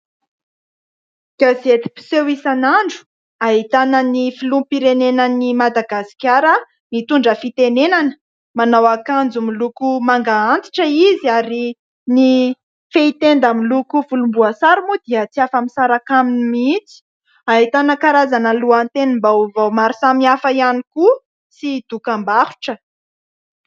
Gazety mpiseho isan'andro ahitana ny filoham-pirenenan'i Madagasikara mitondra fitenenana. Manao akanjo manga antitra izy ary ny fehitenda miloko volomboasary moa dia tsy afa-misaraka aminy mihitsy. Ahitana karazana lohatenim-baovao isan-karazany ihany koa sy dokam-barotra.